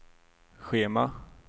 schema